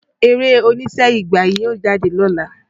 Eré oníṣe "Ìgbà" yóò jáde lọ́la.